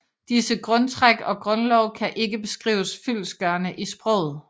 Disse grundtræk og grundlove kan ikke beskrives fyldestgørende i sproget